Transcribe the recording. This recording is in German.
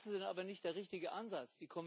Das ist aber nicht der richtige Ansatz.